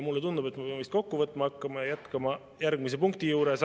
Mulle tundub, et ma pean vist kokku võtma hakkama ja jätkama järgmise punkti juures.